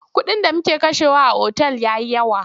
Kuɗin da muke kashewa a otal ya yi yawa.